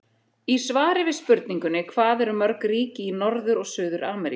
Í svari við spurningunni Hvað eru mörg ríki í Norður- og Suður-Ameríku?